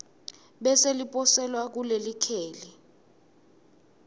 bese liposelwa kulelikheli